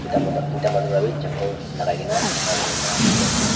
ekta mota duita manu wawi chapel lagaigena khara kurigena dikhi ase.